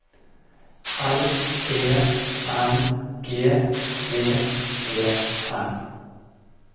L E N G D E N